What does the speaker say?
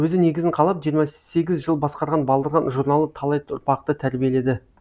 өзі негізін қалап жиырма сегіз жыл басқарған балдырған журналы талай ұрпақты тәрбиеледі